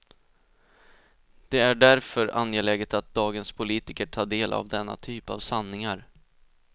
Det är därför angeläget att dagens politiker tar del av denna typ av sanningar.